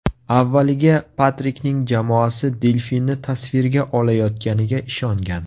Avvaliga Patrikning jamoasi delfinni tasvirga olayotganiga ishongan.